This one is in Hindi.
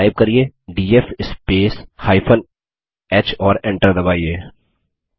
कृपया टाइप करिये डीएफ स्पेस h और Enter दबाइए